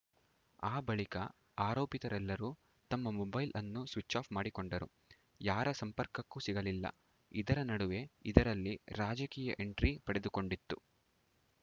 ಆ ಬಳಿಕ ಆರೋಪಿತರೆಲ್ಲರೂ ತಮ್ಮ ಮೊಬೈಲ್‌ ಅನ್ನು ಸ್ವಿಚ್‌ ಆಫ್‌ ಮಾಡಿಕೊಂಡರು ಯಾರ ಸಂಪರ್ಕಕ್ಕೂ ಸಿಗಲಿಲ್ಲ ಇದರ ನಡುವೆ ಇದರಲ್ಲಿ ರಾಜಕೀಯ ಎಂಟ್ರಿ ಪಡೆದುಕೊಂಡಿತ್ತು